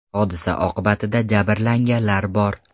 Hodisa oqibatida jabrlanganlar bor.